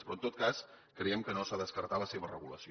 però en tot cas creiem que no s’ha de descartar la seva regulació